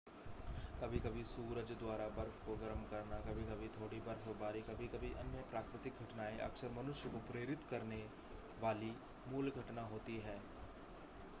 कभी-कभी सूरज द्वारा बर्फ़ को गर्म करना कभी-कभी थोड़ी बर्फ़बारी कभी-कभी अन्य प्राकृतिक घटनाएं अक्सर मनुष्य को प्रेरित करने वाली मूल घटना होती हैं